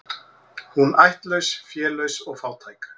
Hún ættlaus, félaus og fátæk.